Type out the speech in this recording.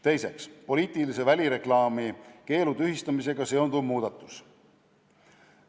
Teiseks, poliitilise välireklaami keelu tühistamisega seonduv muudatus.